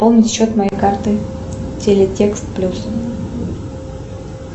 полный счет моей карты телетекст плюс